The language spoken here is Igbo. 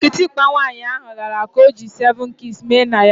Kitikpa nwaanyị ahụ lara ka ọ ji seven keys mee na ya